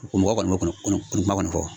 Ko mɔgɔ kɔni kuma kɔni fɔ